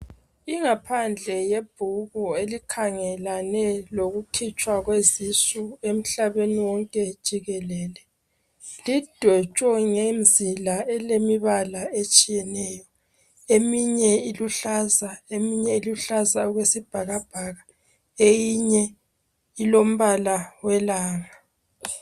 Ingaphandle yebhuku elikhangelane lokukhitshwa kwezisu emhlabeni wonke jikelele .Lidwetshwe ngemzila elemibala etshiyeneyo .Eminye iluhlaza eminye iluhlaza okwesibhakabhaka. Eyinye ilombala welanga .